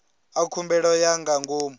a khumbelo ya nga ngomu